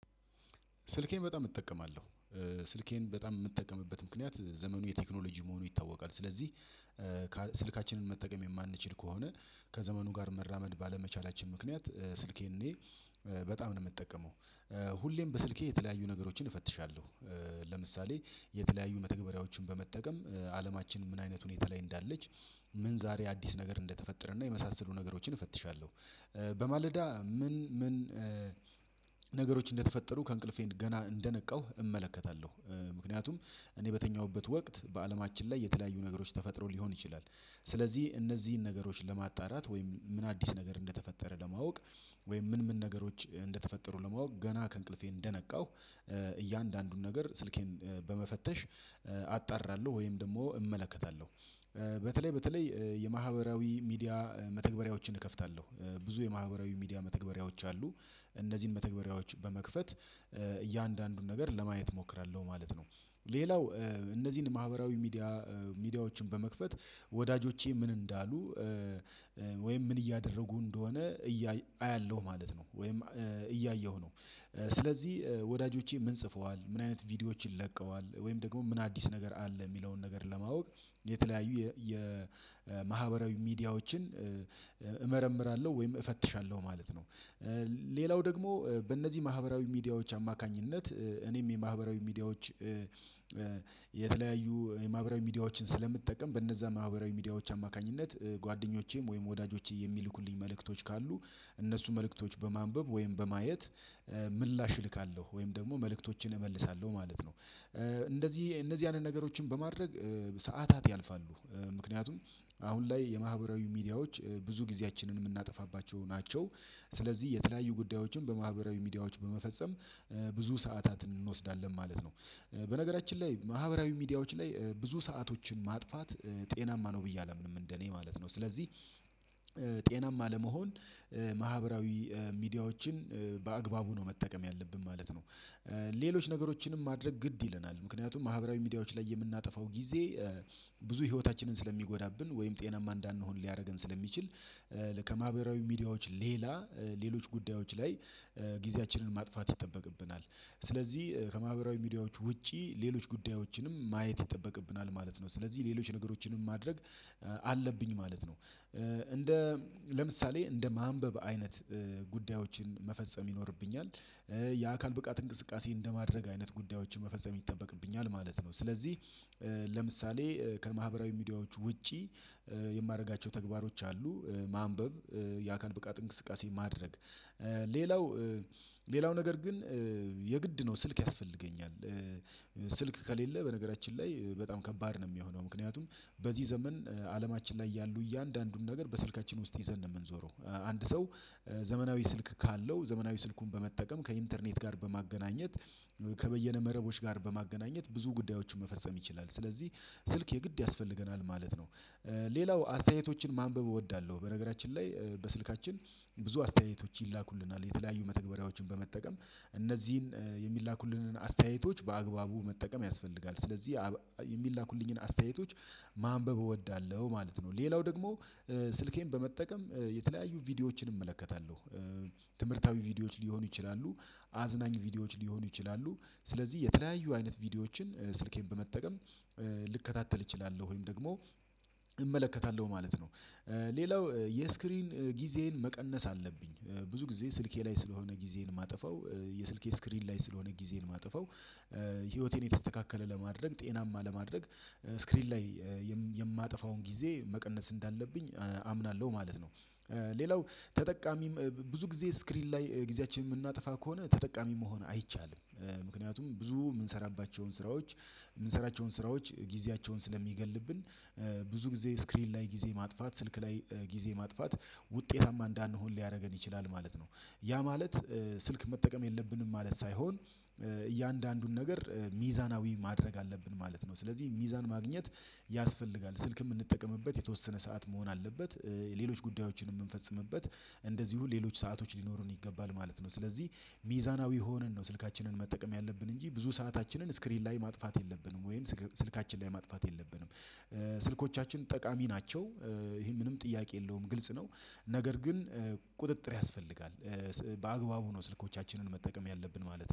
ስልኬን በጣም እጠቀማለሁ። ስልኬን በጣም የምጠቀምበት ምክንያት ዘመኑ የቴክኖሎጂ መሆኑ ይታወቃል። ስለዚህ ስልካችንን መጠቀም የማንችል ከሆነ ከዘመኑ ጋር መራመድ ባለመቻላችን ምክንያት ስልኬን እኔ በጣም ነው የምጠቀመው ሁሌም በስልኬ የተለያዩ ነገሮችን እፈትሻለሁ ለምሳሌ የተለያዩ መተግበሪያዎችን በመጠቀም አለማችን ምን አይነት ሁኔታ ላይ እንዳለች፣ ምን ዛሬ አዲስ ነገር እንደተፈጠረ እና፣ የመሳሰሉ ነገሮችን እፈትሻለሁ በማለዳ ምን ምን እንደተፈጠሩ ከእንቅልፌን ገና እንደነቃሁ እመለከታለሁ ምክንያቱም እኔ በተኛሁበት ወቅት በአለማችን ላይ የተለያዩ ነገሮች ተፈጥሮ ሊሆን ይችላል። ስለዚህ እነዚህን ነገሮች ለማጣራት ወይም ምን አዲስ ነገር እንደተፈጠረ ለማወቅ ወይም ምን ምን ነገሮች እንደተፈጠሩ ለማወቅ ገና ከእንቅልፌ እንደነቃሁ እያንዳንዱን ነገር ስልኬን በመፈተሽ አጣራለሁ ወይም ደግሞ እመለከታለሁ። በተለይ በተለይ የማህበራዊ ሚዲያ መተግበሪያዎችን እከፍታለሁ ብዙ የማህበራዊ ሚዲያ መተግበሪያዎች አሉ። እነዚህን መተግበሪያዎች በመክፈት እያንዳንዱን ነገር ለማየት እሞክራለሁ። ማለት ነው ሌላው እነዚህን ማህበራዊ ሚዲያ ሚዲያዎችን በመክፈት ወዳጆቼ ምን እንዳሉ ወይም ምን እያደረጉ እንደሆነ አያለሁ ማለት ነው። ወይም እያየሁ ነው። ስለዚህ ወዳጆቼ ምን ጽፈዋል ምን አይነት ቪዲዮዎችን ለቀዋል ወይም ደግሞ ምን አዲስ ነገር አለ? የሚለውን ነገር ለማወቅ የተለያዩ የማህበራዊ ሚዲያዎችን ወይም እፈትሻለሁ ማለት ነው። ሌላው ደግሞ በእነዚህ ማህበራዊ ሚዲያዎች አማካኝነት እኔም የማህበራዊ ሚዲያዎች የተለያዩ የማህበራዊ ሚዲያዎችን ስለምትጠቀም በነዛ ማህበራዊ ሚዲያዎች አማካኝነት ጓደኞቼም ወይም ወዳጆቼ የሚልኩልኝ መልእክቶች ካሉ እነሱ መልእክቶች በማንበብ ወይም በማየት ምላሽ እልካለሁ ወይም ደግሞ መልእክቶችን እመልሳለሁ ማለት ነው። እንደዚህ እነዚህ ያንን ነገሮችን በማድረግ ሰዓታት ያልፋሉ ምክንያቱም አሁን ላይ የማህበራዊ ሚዲያዎች ብዙ ጊዜያችንን የምናጠፋባቸው ናቸው። ስለዚህ የተለያዩ ጉዳዮችን በማህበራዊ ሚዲያዎች በመፈጸም ብዙ ሰዓታትን እንወስዳለን ማለት ነው። በነገራችን ላይ ማህበራዊ ሚዲያዎች ላይ ብዙ ሰአቶችን ማጥፋት ጤናማ ነው ብዬ አላምንም እንደኔ ማለት ነው ስለዚህ ጤናማ ለመሆን ማህበራዊ ሚዲያዎችን በአግባቡ ነው መጠቀም ያለብን ማለት ነው። ሌሎች ነገሮችንም ማድረግ ግድ ይለናል ምክንያቱም ማህበራዊ ሚዲያዎች ላይ የምናጠፋው ጊዜ ብዙ ህይወታችንን ስለሚጎዳብን ወይም ጤናማ እንዳንሆን ሊያደርገን ስለሚችል ከማህበራዊ ሚዲያዎች ሌላ ሌሎች ጉዳዮች ላይ ጊዜያችንን ማጥፋት ይጠበቅብናል ስለዚህ ከማህበራዊ ሚዲያዎች ውጪ ሌሎች ጉዳዮችንም ማየት ይጠበቅብናል ማለት ነው። ስለዚህ ሌሎች ነገሮችንም ማድረግ አለብኝ ማለት ነው እንደ ለምሳሌ እንደ ማንበብ አይነት ጉዳዮችን መፈጸም ይኖርብኛል። የአካል ብቃት እንቅስቃሴ እንደማድረግ አይነት ጉዳዮችን መፈጸም ይጠበቅብኛል። ማለት ነው ስለዚህ ለምሳሌ ከማህበራዊ ሚዲያዎች ውጪ የማደርጋቸው ተግባሮች አሉ ማንበብ፣ የአካል ብቃት እንቅስቃሴ ማድረግ፣ ሌላው ሌላው ነገር ግን የግድ ነው ስልክ ያስፈልገኛል። ስልክ ከሌለ በነገራችን ላይ በጣም ከባድ ነው የሚሆነው። ምክንያቱም በዚህ ዘመን አለማችን ላይ ያሉ እያንዳንዱም ነገር በስልካችን ውስጥ ይዘን ነው የምንዞረው። አንድ ሰው ዘመናዊ ስልክ ካለው ዘመናዊ ስልኩን በመጠቀም ከኢንተርኔት ጋር በማገናኘት ከበየነ መረቦች ጋር በማገናኘት ብዙ ጉዳዮችን መፈጸም ይችላል። ስለዚህ ስልክ የግድ ያስፈልገናል ማለት ነው። ሌላው አስተያየቶችን ማንበብ እወዳለሁ በነገራችን ላይ በስልካችን ብዙ አስተያየቶች ይላኩልናል የተለያዩ መተግበሪያዎችን በመጠቀም እነዚህን የሚላኩልንን አስተያየቶች በአግባቡ መጠቀም ያስፈልጋል። ስለዚህ የሚላኩልኝን አስተያየቶች ማንበብ እወዳለሁ ማለት ነው። ሌላው ደግሞ ስልኬን በመጠቀም የተለያዩ ቪዲዮዎችን እመለከታለሁ። ትምህርታዊ ቪዲዮዎች ሊሆኑ ይችላሉ አዝናኝ ቪዲዮዎች ሊሆኑ ይችላሉ ስለዚህ የተለያዩ አይነት ቪዲዮዎችን ስልኬን በመጠቀም ልከታተል እችላለሁ። ወይም ደግሞ እመለከታለሁ ማለት ነው። ሌላው የስክሪን ጊዜን መቀነስ አለብኝ ብዙ ጊዜ ስልኬ ላይ ስለሆነ ጊዜን ማጥፋው የስልኬ ስክሪን ላይ ስለሆነ ጊዜን ማጥፋው ህይወቴን የተስተካከለ ለማድረግ ጤናማ ለማድረግ ስክሪን ላይ የማጠፋውን ጊዜ መቀነስ እንዳለብኝ አምናለሁ ማለት ነው። ሌላው ተጠቃሚ ብዙ ጊዜ ስክሪን ላይ ጊዜያችንን የምናጠፋ ከሆነ ተጠቃሚ መሆን አይቻልም ምክንያቱም ብዙ የምንሰራባቸውን ስራዎች የምንሰራቸውን ስራዎች ጊዜያቸውን ስለሚገልብን ብዙ ጊዜ ስክሪን ላይ ጊዜ ማጥፋት ስልክ ላይ ጊዜ ማጥፋት ውጤታማ እንዳንሆን ሊያደርገን ይችላል። ማለት ነው ያ ማለት ስልክ መጠቀም የለብንም ማለት ሳይሆን እያንዳንዱን ነገር ሚዛናዊ ማድረግ አለብን ማለት ነው። ስለዚህ ሚዛን ማግኘት ያስፈልጋል ስልክ የምንጠቀምበት የተወሰነ ሰዓት መሆን አለበት። ሌሎች ጉዳዮችን የምንፈጽምበት እንደዚሁ ሌሎች ሰአቶች ሊኖሩን ይገባል ማለት ነው። ስለዚህ ሚዛናዊ ሆነን ነው ስልካችንን መጠቀም ያለብን እንጂ ብዙ ሰአታችንን ስክሪን ላይ ማጥፋት የለብንም። ወይም ስልካችን ላይ ማጥፋት የለብንም። ስልኮቻችን ጠቃሚ ናቸው ይሄ ምንም ጥያቄ የለውም ግልጽ ነው። ነገር ግን ቁጥጥር ያስፈልጋል በአግባቡ ነው ስልኮቻችንን መጠቀም ያለብን ማለት ነው።